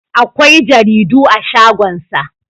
akwai jaridu a shagonsa